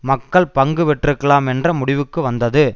மக்கள் பங்கு பெற்றிருக்கலாம் என்ற முடிவிற்கு வந்தது